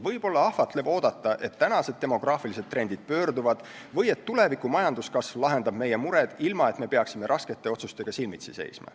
Võib olla ahvatlev oodata, et tänased demograafilised trendid pöörduvad või et tuleviku majanduskasv lahendab meie mured, ilma et me peaksime raskete otsustega silmitsi seisma.